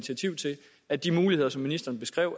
at de muligheder som ministeren beskrev